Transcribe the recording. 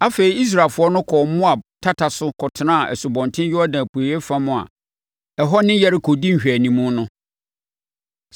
Afei, Israelfoɔ no kɔɔ Moab tata so kɔtenaa Asubɔnten Yordan apueeɛ fam a ɛhɔ ne Yeriko di nhwɛanimu no.